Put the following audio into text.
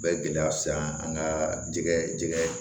U bɛ gɛlɛya se an ka jɛgɛ jɛgɛ